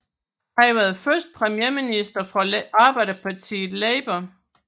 Han var den første premierminister fra arbejderpartiet Labour